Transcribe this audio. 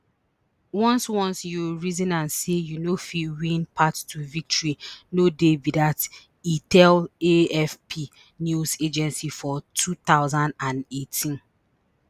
once once you reason am say you no fit win path to victory no dey be dat e tell afp news agency for two thousand and eighteen